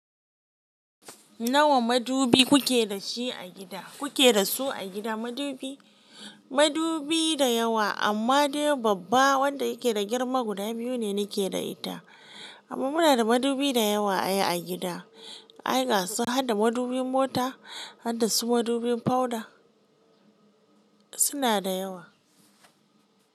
Nawa madubi kuke da shi a gida? Kuke da su a gida madubi? Madubi da yawa amma dai babba wanda yake da girma guda biyu ne nake da ita. Amma muna da madubi da yawa ai a gida. Ai gasu harda madubin mota, harda su madubin powder. Suna da yawa.